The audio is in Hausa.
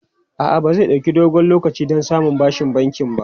A'a, ba zai ɗauki dogon lokaci don samun bashin banki ba.